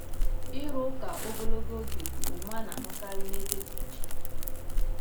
Ịrụ ụka ogologo oge bụ omume a na-ahụkarị n’ebe dị iche iche.